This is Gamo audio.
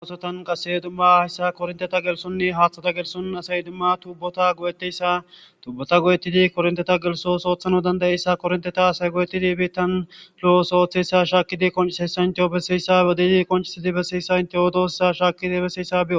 Gagosotan qasse dumma hayssa korinteta gelsonne haaththata gelson asay dumma tubbota go7eteyssa tubbota go7ettidi kornteta gelsos oothano dandayeyssa korinteta asay goyettidi bettan lo7os ooththeyssa shaakkidi qonishey sainteo besiyssa edidi konchiidi besiyssa inte odossa shaakidi beseyssa beos.